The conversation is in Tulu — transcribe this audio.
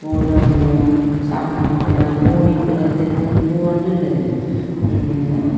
ಗೋಡೌನು ಸಾಮನ್ ಪೂರ ಗೋಣಿ ಪೂರ ದೆತೊಂದು ಪೋವೊಂದು ಉಲ್ಲೆರ್.